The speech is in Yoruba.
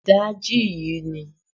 Ìdajì yìí ni